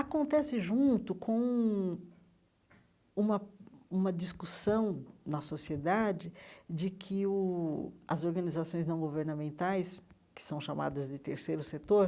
Acontece junto com um uma uma discussão na sociedade de que o as organizações não governamentais, que são chamadas de terceiro setor,